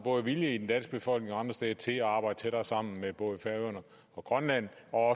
vilje både i den danske befolkning og andre steder til at arbejde tættere sammen med både færøerne og grønland og